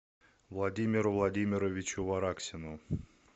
владимиру владимировичу вараксину